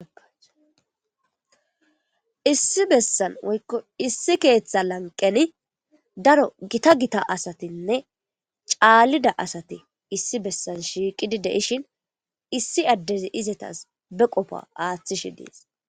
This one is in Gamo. Issi bessan woykko issi keeththa lanqeni daro gita gita asatinne caallida asati issi bessan shiiqidi de ishin issi addezi izetas be qofa aaththishi des.